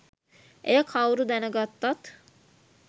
එය කවුරු දැනගත්තත්